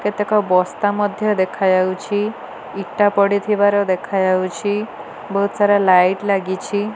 କେତେକ ବସ୍ତା ମଧ୍ୟ ଦେଖାଯାଉଛି ଇଟା ପଡିଥିବାର ଦେଖାଯାଉଛି ବହୁତ ସାରା ଲାଇଟ୍ ଲାଗିଛି।